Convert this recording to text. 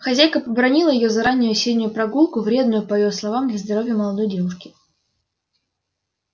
хозяйка побранила её за раннюю осеннюю прогулку вредную по её словам для здоровья молодой девушки